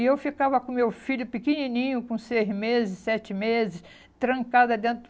E eu ficava com o meu filho pequenininho, com seis meses, sete meses, trancada dentro.